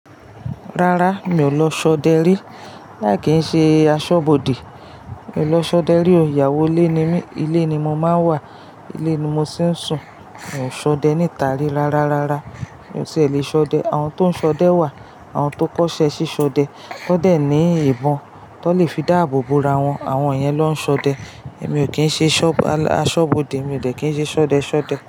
Rárá, mi ò lọ ṣọdẹ rí. Láì kí n ṣe aṣọ́bodè. Mi ò lọ ṣọdẹ rí o, ìyàwó ilé ni mí, ilé ni mo máa ń wà, ilé ni mo sì ń sùn. Mi ò ṣọdẹ níta rí rárárárá. Mi ò tí èlé ṣọdẹ. Àwọn tó ń ṣọdẹ wà, àwọn tó kọ́ṣẹ́ sí ṣọdẹ, wọ́n dẹ̀ ní ìbọn tan lè fi dáàbò bò ra wọn, àwọn yẹn na n ṣọdẹ. Èmi ò kí ń ṣe aṣọ́bodè, mi ò dẹ̀ kí ń ṣe ṣọdẹ ṣọdẹ.